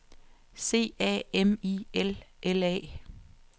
C A M I L L A